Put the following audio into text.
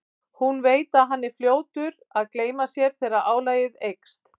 Hún veit að hann er fljótur að gleyma sér þegar álagið eykst.